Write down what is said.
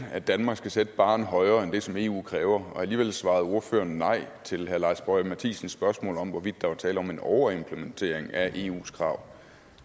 at danmark skal sætte barren højere end det som eu kræver og alligevel svarede ordføreren nej til herre lars boje mathiesens spørgsmål om hvorvidt der var tale om en overimplementering af eus krav